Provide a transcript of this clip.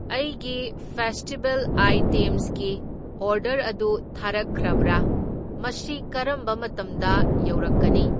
ꯑꯩꯒꯤ ꯐꯦꯁꯇꯤꯚꯦꯜ ꯑꯥꯢꯇꯦꯝꯁꯀꯤ ꯑꯣꯔꯗꯔ ꯑꯗꯨ ꯊꯥꯔꯛꯈ꯭ꯔꯕ꯭ꯔꯥ? ꯃꯁꯤ ꯀꯔꯝꯕ ꯃꯇꯝꯗ ꯌꯧꯔꯛꯀꯅꯤ?